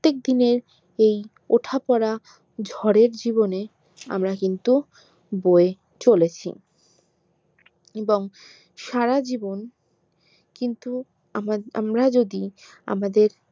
দিনের এই ওঠাপড়া ঝড়ের জীবনের আমরা কিন্তু বয়ে চলেছি এবং সারা জীবন কিন্তু আম আমরা যদি আমাদের